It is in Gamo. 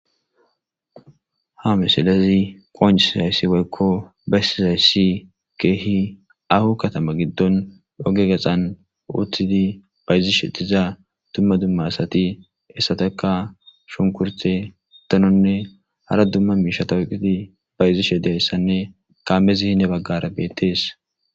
Ha misilezi qonciizayssi waykko bayssi zayssi keehi ahu katama giddon oge gaxan utidi bayzishe tiza dumma dumma asati essataka shunkurte tononne hara dumma miishatawoqiti bayzishe dayssanne kaammezi hine baggara beettees.